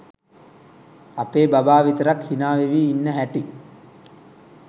අපේ බබා විතරක් හිනා වෙවී ඉන්න හැටි.